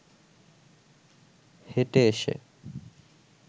হেঁটে এসে